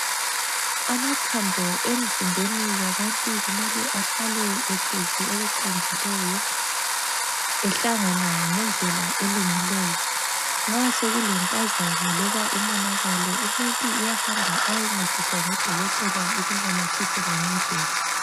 Amathambo emzimbeni yabantu kumele ahlale ehlezi okuqondileyo. Ehlangana ngendlela elungileyo. Nxa sokulempazamo loba umonakalo umuntu uyahamba ayencediswa ngudokotela ukunamathisela ngendlela.